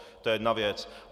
To je jedna věc.